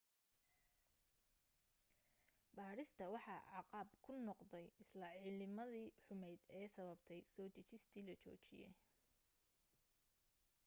baadhista waxa caqab ku noqday isla cimiladii xumayd ee sababtay soo degistii la joojiyay